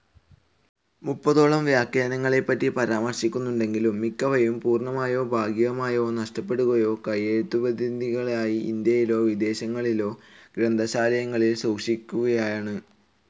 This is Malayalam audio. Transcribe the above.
മുപ്പതോളം വ്യാഖ്യാനങ്ങളെപ്പറ്റി പരാമർശങ്ങളുണ്ടെങ്കിലും, മിക്കവയും പൂർണ്ണമായോ ഭാഗികമായോ നഷ്ടപ്പെടുകയോ കൈയെഴുത്തുപ്രതികളായി ഇൻഡ്യയിലെയോ വിദേശങ്ങളിലെയോ ഗ്രന്ഥശാലയിൽ സൂക്ഷിച്ചിരിക്കുകയാണ്.